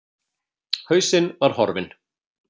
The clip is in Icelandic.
Hausinn var horfinn.